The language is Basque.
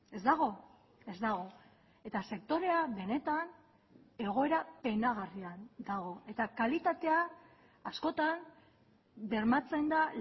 ez dago ez dago eta sektorea benetan egoera penagarrian dago eta kalitatea askotan bermatzen da